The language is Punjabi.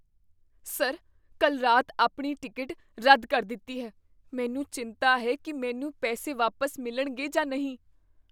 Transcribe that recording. ਸਰ, ਕੱਲ੍ਹ ਰਾਤ ਆਪਣੀ ਟਿਕਟ ਰੱਦ ਕਰ ਦਿੱਤੀ ਹੈ। ਮੈਨੂੰ ਚਿੰਤਾ ਹੈ ਕੀ ਮੈਨੂੰ ਪੈਸੇ ਵਾਪਸ ਮਿਲਣਗੇ ਜਾਂ ਨਹੀਂ।